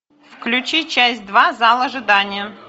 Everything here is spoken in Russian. включи часть два зал ожидания